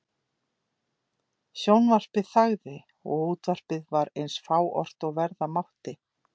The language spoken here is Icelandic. Sjónvarpið þagði og útvarpið var eins fáort og verða mátti.